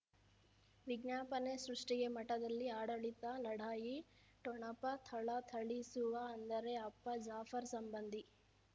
ವಿಜ್ಞಾಪನೆ ಸೃಷ್ಟಿಗೆ ಮಠದಲ್ಲಿ ಆಡಳಿತ ಲಢಾಯಿ ಠೊಣಪ ಥಳಥಳಿಸುವ ಅಂದರೆ ಅಪ್ಪ ಜಾಫರ್ ಸಂಬಂಧಿ